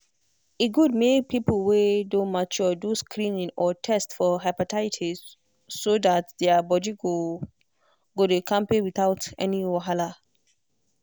e good make people wey don mature do screening or test for hepatitis so that their body go dey kampe without any wahala.